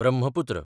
Brahmaputra